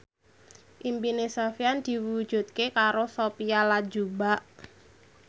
impine Sofyan diwujudke karo Sophia Latjuba